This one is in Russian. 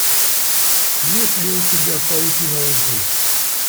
есть ли у тебя паутина лжи